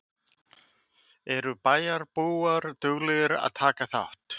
Eru bæjarbúar duglegir að taka þátt?